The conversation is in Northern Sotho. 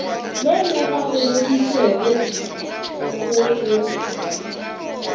le le gapeleditšego se go